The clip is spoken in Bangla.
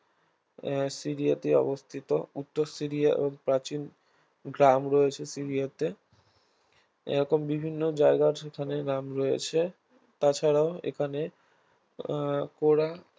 সিরিয়াতে অবস্থিত উত্তর সিরিয়া ও প্রাচীন গ্রাম রয়েছে সিরিয়াতে এরকম বিভিন্ন জায়গার সেখানে গ্রাম রয়েছে তাছাড়াও এখানে আহ কোরা